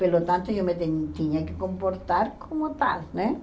Pelo tanto, eu me tem tinha que comportar como tal, né?